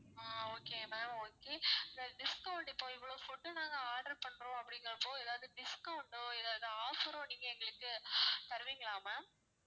ஆஹ் okay ma'am okay இந்த discount இப்போ இவ்வளோ food உ நாங்க order பண்றோம் அப்படிங்கறப்போ எதாவது discont ஓ எதாவது offer ஓ நீங்க எங்களுக்கு தருவீங்களா ma'am